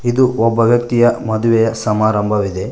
ಇದು ಒಬ್ಬ ವ್ಯಕ್ತಿಯ ಮದುವೆ ಸಮಾರಂಭವಿದೆ.